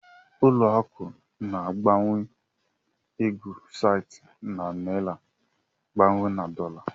Ụlọ akụ̀ na-agbanwe ego site na naịra gbanwee na dọla.